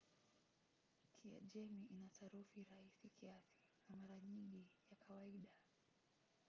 kiajemi ina sarufi rahisi kiasi na mara nyingi ya kawaida